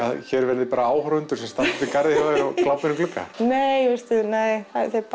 hér verði áhorfendur sem standa út í garði og glápi inn um glugga nei nei